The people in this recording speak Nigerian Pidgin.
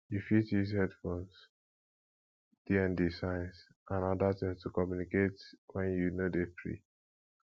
you fit use headphones dnd signs and oda things to communicate when you no dey free